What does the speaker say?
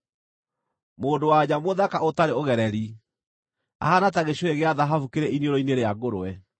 Mũndũ-wa-nja mũthaka ũtarĩ ũgereri ahaana ta gĩcũhĩ gĩa thahabu kĩrĩ iniũrũ-inĩ rĩa ngũrwe.